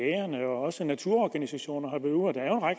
og også naturorganisationer